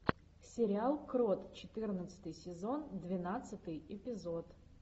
сериал крот четырнадцатый сезон двенадцатый эпизод